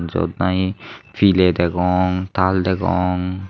jyot nahi piley degong tal degong.